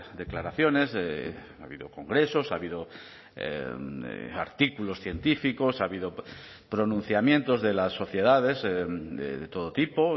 declaraciones ha habido congresos ha habido artículos científicos ha habido pronunciamientos de las sociedades de todo tipo